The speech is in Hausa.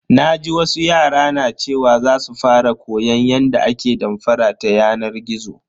Naji wasu yara na cewa za su fara koyan yadda ake damfara ta yanar gizo.